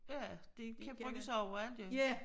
Ja det kan bruges overalt jo